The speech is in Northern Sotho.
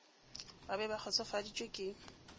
ba be ba kgotsofaditšwe ke